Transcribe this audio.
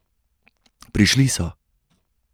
Prišli so!